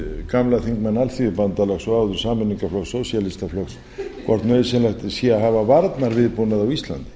gamlan þingmann alþýðubandalagsins og áður sameiningarflokks alþýðu sósíaflokksins hvort nauðsynlegt sé að hafa varnarviðbúnað á íslandi